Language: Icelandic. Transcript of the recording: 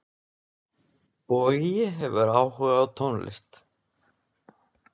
Bogi hefur áhuga á tónlist.